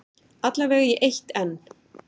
Alla vega í eitt enn.